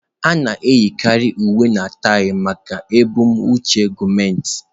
A na-eyikarị uwe na taị maka ebumnuche gọọmentị.